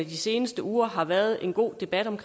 de seneste uger har været en god debat om